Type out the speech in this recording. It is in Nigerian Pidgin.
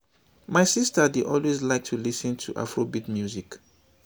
my sister dey always like to lis ten to afrobeat music